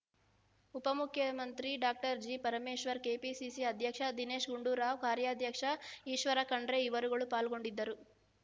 ಉಪಮುಖ್ಯಮಂತ್ರಿ doctor G Parameshwar KPCC ಅಧ್ಯಕ್ಷ ದಿನೇಶ್ ಗುಂಡೂರಾವ್ ಕಾರ್ಯಾಧ್ಯಕ್ಷ ಈಶ್ವರಖಂಡ್ರೆ ಇವರುಗಳು ಪಾಲ್ಗೊಂಡಿದ್ದರು